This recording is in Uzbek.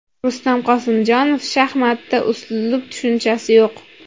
Rustam Qosimjonov: Shaxmatda uslub tushunchasi yo‘q.